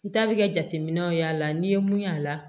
N ta bɛ kɛ jateminɛw y'a la n'i ye mun y'a la